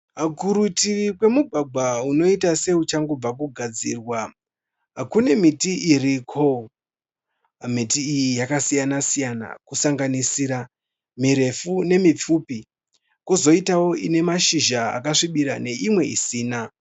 Kurutivi kwemugwagwa unoita seuchangobva kugadzirwa kune miti iriko. Miti iyi yakasiyana siyana kusanganisira mirefu nemipfupi. Kozoitao ine mashizha akasvibira neimwe isina.